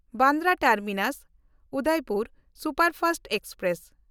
Bandra ᱴᱟᱨᱢᱤᱱᱟᱥ–ᱩᱫᱚᱭᱯᱩᱨ superfast express